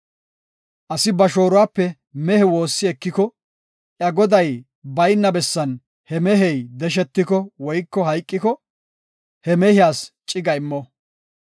“Asi ba shooruwape mehe woossi ekiko iya goday bayna bessan he mehey deshetiko woyko hayqiko, he mehiyas ciga immo.